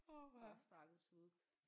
Orh stakkels Vuk